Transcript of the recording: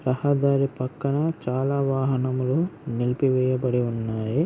రహదారి పక్కన చాలా వాహనములు నిలిపి వేయబడి ఉన్నాయి.